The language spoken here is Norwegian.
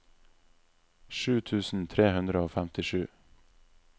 sju tusen tre hundre og femtisju